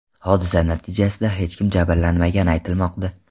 Hodisa natijasida hech kim jabrlanmagani aytilmoqda.